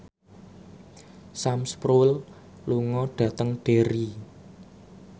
Sam Spruell lunga dhateng Derry